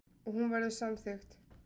Og hún verður samþykkt.